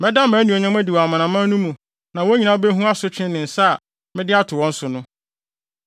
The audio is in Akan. “Mɛda mʼanuonyam adi wɔ amanaman no mu na wɔn nyinaa behu asotwe ne nsa a mede ato wɔn so no.